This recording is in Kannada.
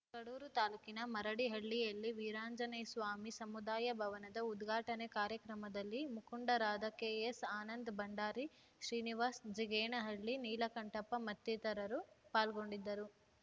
ಕಡೂರು ತಾಲೂಕಿನ ಮರಡಿಹಳ್ಳಿಯಲ್ಲಿ ವೀರಾಂಜನೇಸ್ವಾಮಿ ಸಮುದಾಯ ಭವನದ ಉದ್ಘಾಟನೆ ಕಾರ್ಯಕ್ರಮದಲ್ಲಿ ಮುಖಂಡರಾದ ಕೆ ಎಸ್‌ಆನಂದ್‌ ಭಂಡಾರಿ ಶ್ರೀನಿವಾಸ್‌ ಜಿಗಣೇಹಳ್ಳಿ ನೀಲಕಂಠಪ್ಪ ಮತ್ತಿತರರು ಪಾಲ್ಗೊಂಡಿದ್ದರು